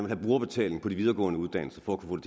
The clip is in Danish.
have brugerbetaling på de videregående uddannelser for at kunne